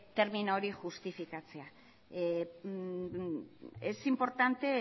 termino hori justifikatzea es importante